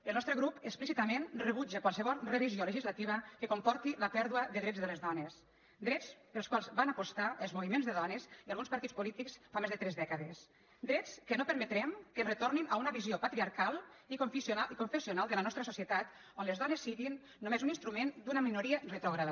el nostre grup explícitament rebutja qualsevol revisió legislativa que comporti la pèrdua de drets de les dones drets pels quals van apostar els moviments de dones i alguns partits polítics fa més de tres dècades drets que no permetrem que ens retornin a una visió patriarcal i confessional de la nostra societat on les dones siguin només un instrument d’una minoria retrògrada